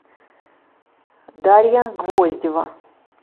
дарья гвоздева